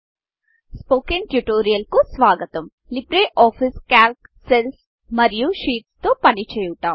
spoken tutorialస్పోకెన్ tutorial కు స్వాగతం LibreOffice Calc cells LibreOffice Calc సెల్స్మరియు షీట్స్ షీట్స్తో పని చేయుట